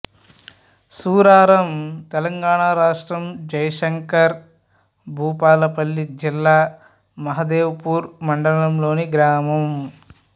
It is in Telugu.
సూరారం తెలంగాణ రాష్ట్రం జయశంకర్ భూపాలపల్లి జిల్లా మహదేవ్ పూర్ మండలంలోని గ్రామం